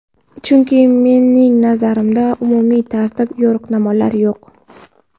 Chunki, mening nazarimda, umumiy tartib, yo‘riqnomalar yo‘q.